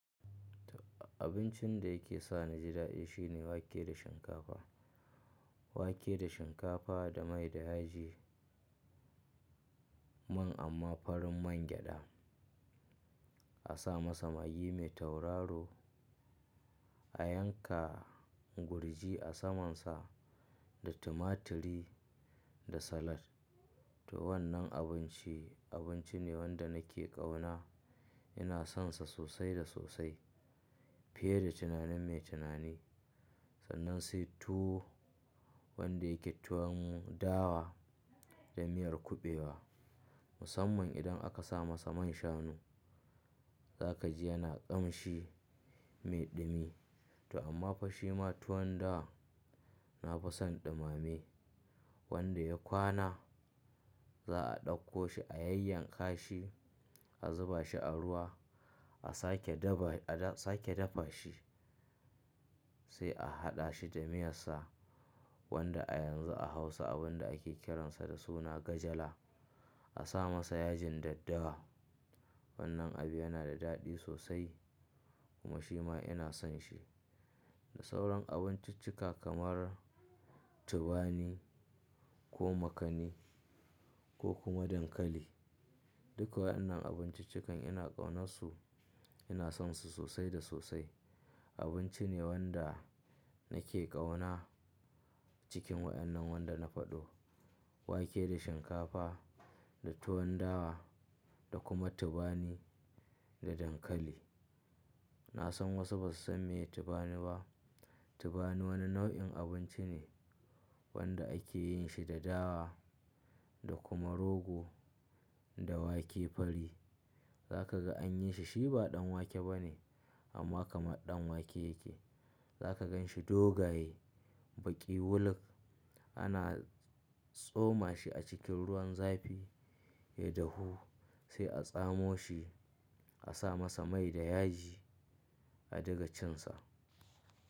Abincin da yake sa ni ji daɗi shine wake da shinkafa. Wake da shinkafa da mai da yaji. Man amma farin man gyaɗa. A sa masa magi mai tauraro, a yanka gurji a samansa da tumaturi da salad. To wannan abinci, abinci ne wanda nake ƙauna. Ina sonsa sosai da sosai fiye da tunanin mai tunani. Sannan sai tuwo wanda yake tuwon dawa da miyar kuɓewa. Musamman idan aka sa masa man shanu. Za ka ji yana ƙamshi mai ɗumi. To amma fa shi ma tuwon dawa na fi son ɗumame. Wanda ya kwana za a ɗauko shi a yayyanka shi, a zuba shi a ruwa, a sake dafa shi sai a haɗa shi da miyarsa. Wanda a yanzu a Hausa abin da ake kiransa da suna Gajala. A sa masa yajin daddawa. Wannan abu yana da daɗi sosai kuma shi ma ina son shi. Da sauran abinciccika kamar tubani ko makani ko kuma dankali. Duka wa'yannan abinciccikan ina ƙaunarsu, ina sonsu sosai da sosai. Abinci ne wanda nake ƙauna cikin waɗannan wanda na faɗo. Wake da shinkafa da tuwon dawa da kuma tubani da dankali. Na san wasu ba su san me tubani ba. Tubani wani nau'in abinci ne wanda ake yin shi da dawa da kuma rogo da wake fari. Za ka ga an yi shi shi ba ɗan wake ba ne amma kamar ɗan wake yake. Za ka gan shi dogaye baƙi wulak. Ana tsoma shi a cikin ruwan zafi ya dahu sai a tsamo shi, a sa masa mai da yaji a diga cin sa.